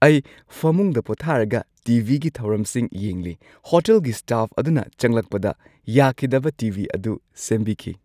ꯑꯩ ꯐꯃꯨꯡꯗ ꯄꯣꯊꯥꯔꯒ ꯇꯤ.ꯚꯤꯒꯤ ꯊꯧꯔꯝꯁꯤꯡ ꯌꯦꯡꯂꯤ꯫ ꯍꯣꯇꯦꯜꯒꯤ ꯁ꯭ꯇꯥꯐ ꯑꯗꯨꯅ ꯆꯪꯂꯛꯄꯗ ꯌꯥꯈꯤꯗꯕ ꯇꯤ.ꯚꯤ ꯑꯗꯨ ꯁꯦꯝꯕꯤꯈꯤ꯫